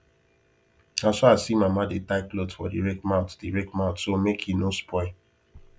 na so i see mama dey tie cloth for the rake mouth the rake mouth so make e no spoil